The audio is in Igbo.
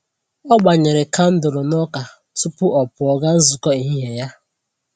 O gbanyere kandụlụ n'ụka tupu ọ pụọ gaa nzukọ ehihie ya.